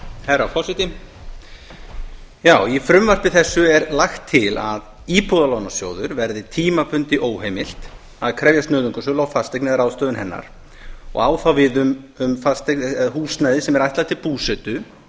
herra forseti í frumvarpi þessu er lagt til að íbúðalánasjóði verði tímabundið óheimilt að krefjast nauðungarsölu á fasteign eða ráðstöfun hennar og á það við um húsnæði sem er ætlað til búsetu